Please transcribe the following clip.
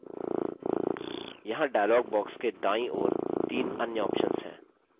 यहाँ dialog box के दायीं ओर तीन अन्य options हैं